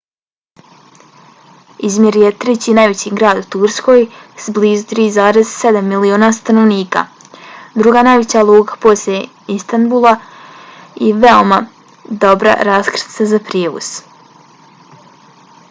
izmir je treći najveći grad u turskoj s blizu 3,7 miliona stanovnika druga najveća luka poslije istanbula i veoma dobra raskrsnica za prijevoz